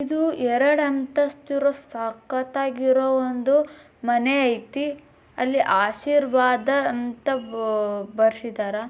ಇದು ಎರಡು ಅಂತಸ್ತಿನ ಸಕ್ಕತ್ತಾಗಿರೋ ಒಂದು ಮನೆ ಐತಿ ಅಲ್ಲೀ ಆಶೀರ್ವಾದ ಅಂತ ಬಾ ಬರ್ಸಿದ್ದಾರಾ.